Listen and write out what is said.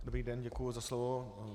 Dobrý den, děkuji za slovo.